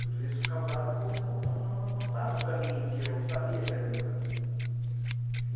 Tudo isso causado por eu não, não, não estar no caminho que eu sabia que era o meu caminho.